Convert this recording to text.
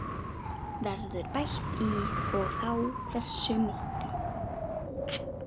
Verður bætt í og þá hversu miklu?